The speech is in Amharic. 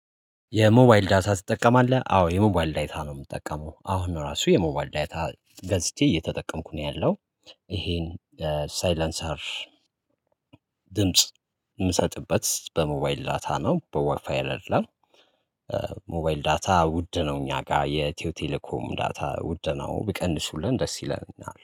የሞባይል ዳታ ትጠቀማለህ? አዎ የሞባይል ዳይታ ነው የምጠቀመው አሁን ነው ራሱ የሞባይል ዳይታ ገዝቼ እየተጠቀምኩ ነው ያለው። ይሄን ሳይለንሰር ድምጽ ምሰጥበት በሞባይል ዳታ ነው በዋይፋይ አይደለም። ሞባይል ዳታ ውድ ነው እኛ ጋር የኢትዮ ቴሌኮም ዳታ ውድ ነው ቢቀንሱልን ደስ ይለናል